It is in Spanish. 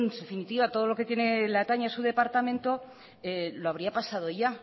definitiva todo lo que le atañe a su departamento lo habría pasado ya